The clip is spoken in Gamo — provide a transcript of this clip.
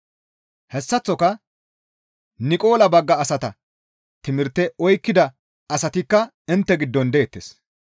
Hessaththoka Niqola bagga asata timirte oykkida asatikka intte giddon deettes.